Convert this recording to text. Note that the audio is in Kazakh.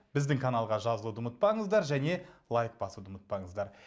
біздің каналға жазылуды ұмытпаңыздар және лайк басуды ұмытпаңыздар